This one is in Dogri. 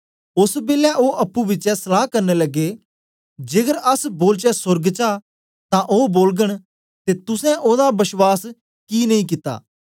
ओसलै ओ अप्पुं बिचें सलाह करन लगे जेकर अस बोलचै सोर्ग चा तां ओ बोलगन ते तुसें ओदा बश्वास गी नेई कित्ता